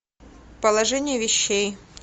положение вещей